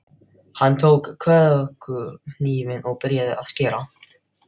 Hann tók kökuhnífinn og byrjaði að skera.